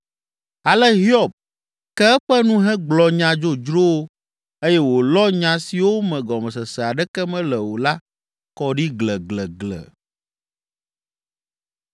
Ale Hiob ke eƒe nu hegblɔ nya dzodzrowo eye wòlɔ nya siwo me gɔmesese aɖeke mele o la kɔ ɖi gleglegle.”